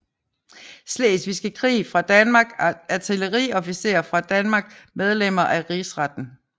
Slesvigske Krig fra Danmark Artilleriofficerer fra Danmark Medlemmer af Rigsretten